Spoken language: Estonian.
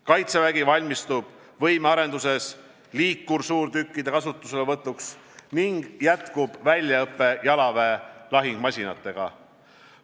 Kaitsevägi valmistub võimearenduses liikursuurtükkide kasutuselevõtuks ning jätkub väljaõpe jalaväe lahingumasinatega.